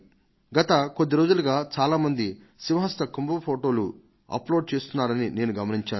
గత కొద్ది రోజులుగా చాలా మంది సింహస్థ కుంభ్ మేళా ఫొటోలను అప్లోడ్ చేయడం నేను గమనించాను